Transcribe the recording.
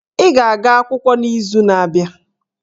Ị ga-aga akwụkwọ n'izu na-abịa!